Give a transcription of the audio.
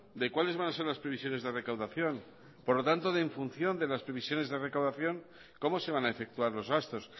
de cuáles van a ser las previsiones de recaudación por lo tanto de en función de las previsiones de recaudación cómo se van a efectuar los gastos